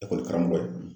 Ekɔlikaramɔgɔ ye